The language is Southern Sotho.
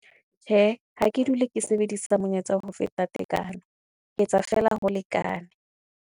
Tjhe, ha ke dule ke sebedisa monyetsa ho feta tekano, ke etsa fela ho lekane.